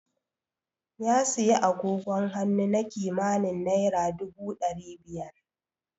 Ya siyi agogon hannu na kimanin naira dubu ɗari biyar.